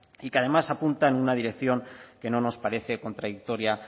y que además apunta en una dirección que no nos parece contradictoria